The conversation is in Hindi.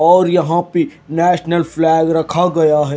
और यहां पे नेशनल फ्लैग रखा गया है।